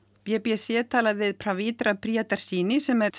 b b c talaði við Pavithra Priyadarshini sem er